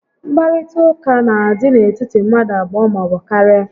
Nkparịta ụka n'adị n'etiti mmadụ abụọ maọbụ karịa